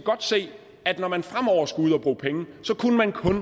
at når man fremover skulle ud at bruge penge så kunne man kun